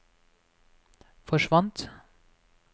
forsvant